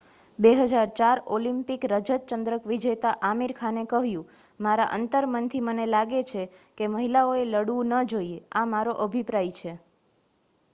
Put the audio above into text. "2004 Olympic રજત ચંદ્રક વિજેતા આમિર ખાને કહ્યું "મારા અંતરમનથી મને લાગે છે કે મહિલાઓએ લડવું ન જોઈએ. આ મારો અભિપ્રાય છે.""